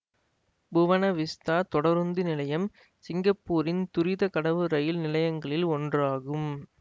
புவன Vista தொடருந்து நிலையம் சிங்கப்பூரின் துரித கடவு ரயில் நிலையங்களில் ஒன்றாகும்